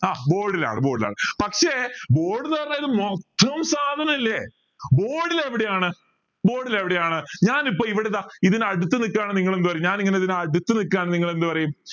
ആഹ് board ലാണ് board ലാണ് പക്ഷെ board ന്ന് പറഞ്ഞ ഇത് മൊത്തം സാധനല്ലേ board ൽ എവിടെയാണ് board ൽ എവിടെയാണ് ഞാൻ ഇപ്പൊ ഇവിടെ ഇതാ ഇതിന് അടുത്ത് നിക്കാണേൽ നിങ്ങൾ എന്ത് പറയും ഞാൻ ഇങ്ങനെ ഇതിന് അടുത്ത് നിക്കാണ് നിങ്ങൾ എന്ത് പറയും